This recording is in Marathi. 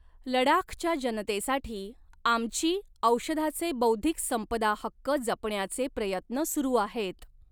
लडाखच्या जनतेसाठी 'आमची' औषधाचे बौद्धिक संपदा हक्क जपण्याचे प्रयत्न सुरु आहेत.